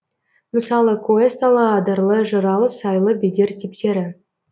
мысалы куэсталы адырлы жыралы сайлы бедер типтері